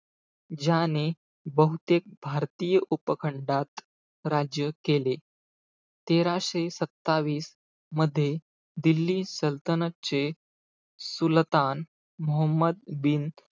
ज्याने बहुतेक भारतीय उपखंडात राज्य केले. तेराशे सत्तावीस मध्ये, दिल्ली सल्तनत चे सुलतान मोहम्मद बिन,